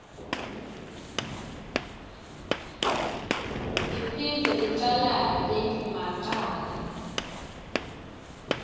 iphindze icalate macala